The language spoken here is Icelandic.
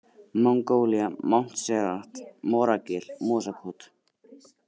Mongólía, Montserrat, Moragil, Mosakot